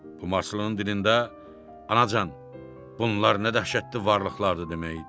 Bu marslının dilində anacan, bunlar nə dəhşətli varlıqlardır demək idi.